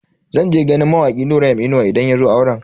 Zan je ganin mawaki Nura M Inuwa idan yazo auren.